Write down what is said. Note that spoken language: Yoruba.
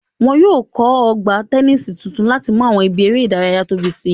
Wọn yóò kọ́ Ọgbà tẹnísì tuntun láti mú àwọn ibi eré ìdárayá tóbi si